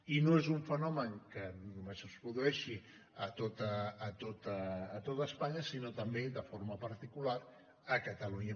i no és un fenomen que només es produeixi a tot espanya sinó també i de forma particular a catalunya